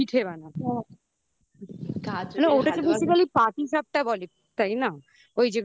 পিঠে বানাবে না ওটা তো basically পাটিসাপটা বলে তাই না